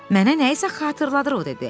Mənə nəyisə xatırladır o dedi.